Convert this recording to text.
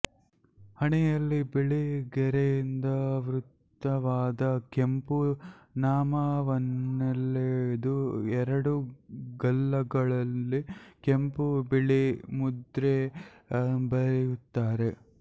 ಹಣೆಯಲ್ಲಿ ಬಿಳಿ ಗೆರೆಯಿಂದಾವೃತವಾದ ಕೆಂಪು ನಾಮವನ್ನೆಳೆದು ಎರಡು ಗಲ್ಲಗಳಲ್ಲಿ ಕೆಂಪು ಬಿಳಿ ಮುದ್ರೆ ಬರೆಯುತ್ತಾರೆ